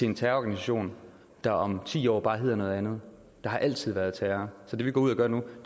en terrororganisation der om ti år bare hedder noget andet der har altid været terror så det vi går ud og gør nu